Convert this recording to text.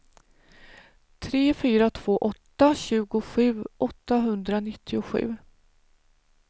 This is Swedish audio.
tre fyra två åtta tjugosju åttahundranittiosju